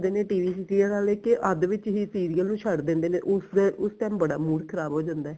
TV ਦੀ cable ਵੱਲ ਦੇਖ ਕੇ ਕਿ ਅੱਧ ਵਿੱਚ ਹੀ serial ਨੂੰ ਛੱਡ ਦਿੰਦੇ ਨੇ ਉਸ time ਬੜਾ mood ਖ਼ਰਾਬ ਹੋ ਜਾਂਦਾ ਹੈ